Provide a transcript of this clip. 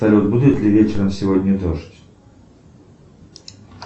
салют будет ли вечером сегодня дождь